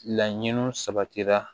Laɲiniw sabatira